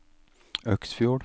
Øksfjord